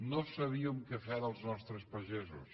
no sabíem què fer dels nostres pagesos